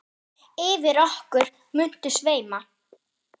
Yfir okkur muntu sveima.